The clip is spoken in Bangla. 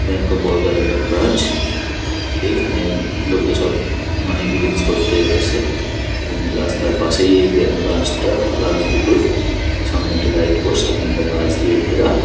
ব্যাংক অফ বড়দার - আর একটা ব্রাঞ্চ । এইখানে লোকে সব মানি ডিলিংস করতে আসে। এবং রাস্তার পাশেই এই ব্রা ব্রাঞ্চ - টা ব্রাঞ্চ -দুটোই সামনে একটা লাইট পোস্ট সামনে একটা বাঁশ দিয়ে ঘেরা।